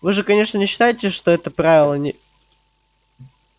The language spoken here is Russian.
вы же конечно не считаете что это правило не